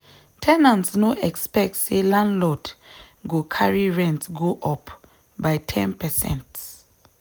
ten ants no expect say landlord go carry rent go up by ten percent